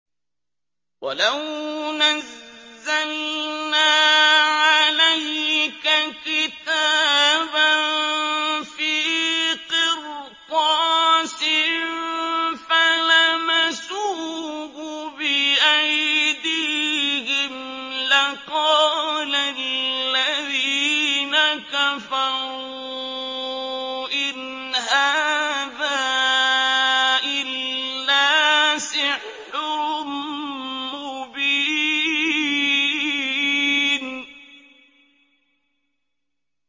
وَلَوْ نَزَّلْنَا عَلَيْكَ كِتَابًا فِي قِرْطَاسٍ فَلَمَسُوهُ بِأَيْدِيهِمْ لَقَالَ الَّذِينَ كَفَرُوا إِنْ هَٰذَا إِلَّا سِحْرٌ مُّبِينٌ